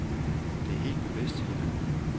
Det er helt bevidst, siger han.